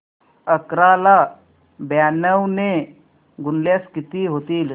अकरा ला ब्याण्णव ने गुणल्यास किती होतील